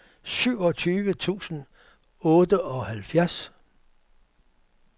syvogtyve tusind og otteoghalvfjerds